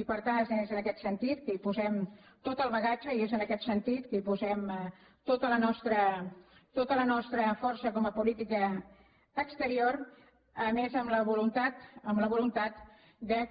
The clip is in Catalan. i per tant és en aquest sentit que hi posem tot el bagatge i és en aquest sentit que hi posem tota la nostra força com a política exterior a més amb la voluntat amb la voluntat